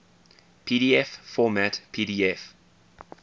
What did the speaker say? pdf format pdf